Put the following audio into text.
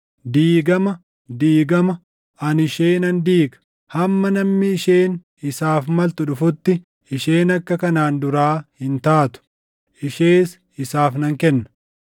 Diigama! Diigama! Ani ishee nan diiga! Hamma namni isheen isaaf maltu dhufutti isheen akka kanaan duraa hin taatu; ishees isaaf nan kenna.’